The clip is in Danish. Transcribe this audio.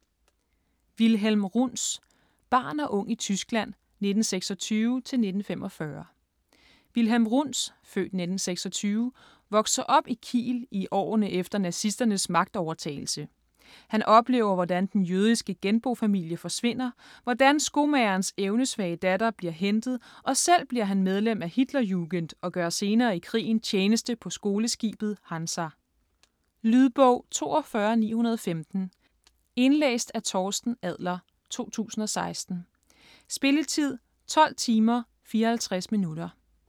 Runz, Wilhelm: Barn og ung i Tyskland 1926 til 1945 Wilhelm Runz (f. 1926) vokser op i Kiel i årene efter nazisternes magtovertagelse. Han oplever hvordan den jødiske genbofamilie forsvinder, hvordan skomagerens evnesvage datter bliver hentet, og selv bliver han medlem af Hitlerjugend og gør senere i krigen tjeneste på skoleskibet Hansa. Lydbog 42915 Indlæst af Torsten Adler, 2016. Spilletid: 12 timer, 54 minutter.